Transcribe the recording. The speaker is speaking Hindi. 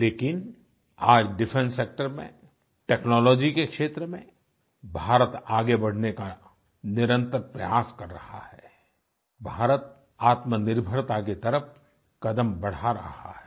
लेकिन आज डिफेंस सेक्टर में टेक्नोलॉजी के क्षेत्र में भारत आगे बढ़ने का निरंतर प्रयास कर रहा है भारत आत्मनिर्भरता की तरफ कदम बढ़ा रहा है